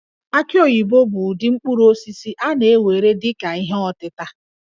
Aki oyibo bụ ụdị mkpụrụ osisi a na-ewere dị ka ihe ọtịta